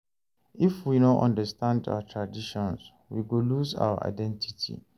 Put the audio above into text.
If we no understand our traditions, we go lose our identity.